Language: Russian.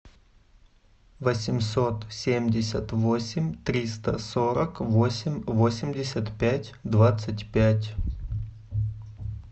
восемьсот семьдесят восемь триста сорок восемь восемьдесят пять двадцать пять